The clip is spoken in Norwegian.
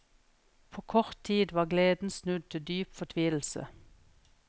På kort tid var gleden snudd til dyp fortvilelse.